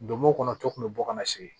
Donmo kɔnɔ to kun bɛ bɔ kana segin